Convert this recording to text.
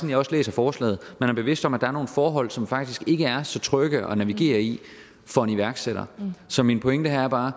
jeg læser forslaget man er bevidst om at der er nogle forhold som faktisk ikke er så trygge at navigere i for en iværksætter så min pointe er bare